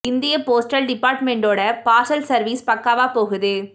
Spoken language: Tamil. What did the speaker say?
இந்திய போஸ்டல் டிப்பார்ட்மெண்டோ ட பார்சல் சர்வீ ஸ் பக்காவாகப் போகுது